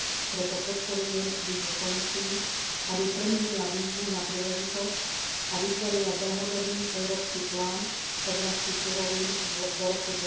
Preto podporujem výzvu Komisii, aby premenila výzvu na príležitosť a vytvorila dlhodobý európsky plán v oblasti surovín do roku